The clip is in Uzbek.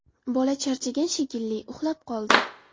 Bola charchagan shekilli, uxlab qoldi.